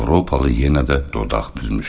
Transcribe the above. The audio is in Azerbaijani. Avropalı yenə də dodaq büzmüşdü.